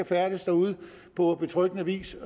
færdes derude på betryggende vis